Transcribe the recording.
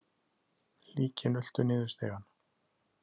Líkin ultu niður stigann.